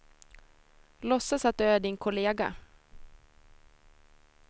Låtsas att du är din kollega.